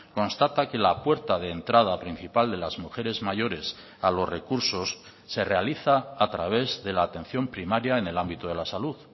constata que la puerta de entrada principal de las mujeres mayores a los recursos se realiza a través de la atención primaria en el ámbito de la salud